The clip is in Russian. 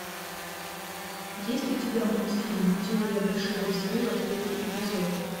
есть у тебя мультфильм теория большого взрыва третий эпизод